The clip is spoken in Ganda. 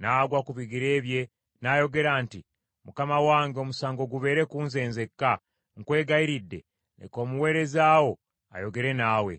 N’agwa ku bigere bye n’ayogera nti, “Mukama wange omusango gubeere ku nze nzekka. Nkwegayiridde leka omuweereza wo ayogere naawe;